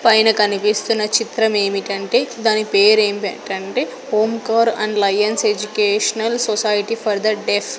పైన కనిపిస్తున్న చిత్రమేమిటంటే దాని పేరు ఏమిటంటే Omkar and Lions educational society for the deaf .